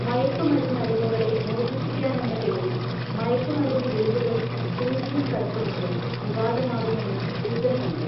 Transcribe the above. മയക്കുമരുന്നടിമകളെ മോചിപ്പിക്കാനെന്ന പേരിൽ മയക്കുമരുന്ന് ഗുളികകളും സൂചിയും കടത്തുന്നത് വിവാദമാകുമെന്നു സൂചനയുണ്ട്